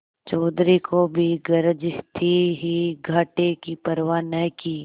चौधरी को भी गरज थी ही घाटे की परवा न की